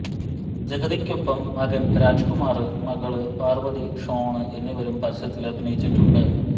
ജഗതിയ്ക്കൊപ്പം മകന് രാജ്കുമാര് മകള് പാര്വതി ഷോണ് എന്നിവരും പരസ്യത്തില് അഭിനയിച്ചിട്ടുണ്ട്